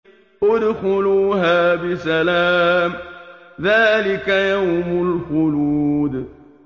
ادْخُلُوهَا بِسَلَامٍ ۖ ذَٰلِكَ يَوْمُ الْخُلُودِ